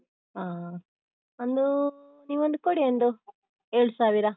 ಹಾ, ಒಂದು ನೀವೊಂದು ಕೊಡಿ ಒಂದು ಏಳು ಸಾವಿರ.